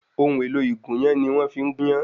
Ohun èlò ìgúnyán ni wọ́n fi ń gúnyán